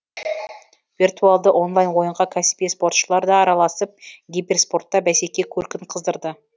виртуалды онлайн ойынға кәсіби спортшылар да араласып киберспортта бәсеке көркін қыздырды